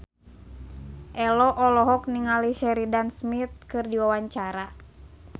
Ello olohok ningali Sheridan Smith keur diwawancara